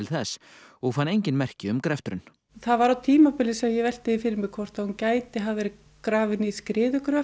þess og fann engin merki um greftrun það var á tímabili sem ég velti því fyrir mér hvort að hún gæti hafa verið grafin í